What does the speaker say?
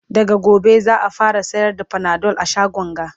daga gobe za'a fara sayar da Panadol a shagon ga